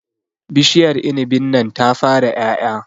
Bishiar inibin nan ta fara ƴaƴa